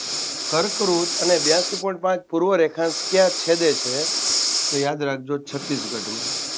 કર્કવૃત અને બ્યાસી point પાંચ પૂર્વ રેખાંશ કયા છેદે છે તો યાદ રાખજો છત્તીસગઢમાં